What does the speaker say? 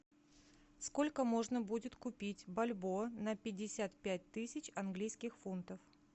сколько можно будет купить бальбоа на пятьдесят пять тысяч английских фунтов